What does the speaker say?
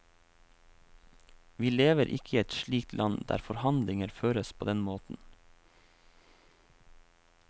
Vi lever ikke i et slikt land, der forhandlinger føres på den måten.